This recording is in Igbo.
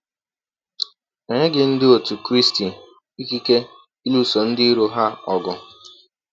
E nyeghị Ndị otụ Krịstị ikike ịlụso ndị iro ha ọgụ.